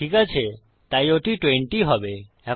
ঠিক আছে তাই ওটি 20 হবে